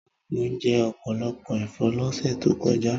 Mo jẹ ọ̀pọ̀lọpọ̀ ẹ̀fọ́ lọ́sẹ̀ tó kọjá